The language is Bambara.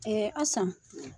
Ɛɛ Asan